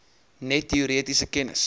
net teoretiese kennis